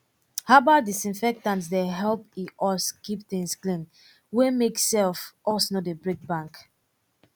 herbal disinfectant dey help with us keep things clean wey make self us no dey break bank